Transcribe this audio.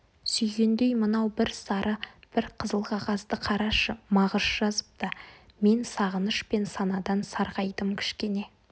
сүйгендей мынау бір сары бір қызыл қағазды қарашы мағыш жазыпты мен сағыныш пен санадан сарғайдым кішкене